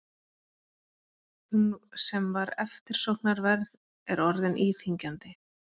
Hún sem var eftirsóknarverð er orðin íþyngjandi.